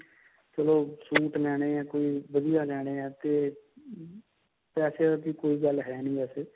ਚਲੋ suit ਲੈਨੇ ਹੈ ਤੇ ਵਧੀਆ ਲੈਨੇ ਹੈ ਤੇ ਪੈਸਿਆ ਦੀ ਕੋਈ ਗੱਲ ਹੈਂ ਨਹੀਂ ਵੈਸੇ